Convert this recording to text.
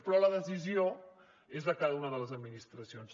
però la decisió és de cada una de les administracions